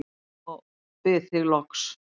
og bið þig loks